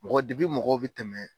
Mɔgɔ dibi mɔgɔw bi tɛmɛ.